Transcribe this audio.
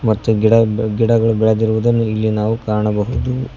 ಮತ್ತು ಗಿಡ ಗಿಡಗಳು ಬೆಳೆದಿರುದನ್ನು ಇಲ್ಲಿ ನಾವು ಕಾಣಬಹುದು.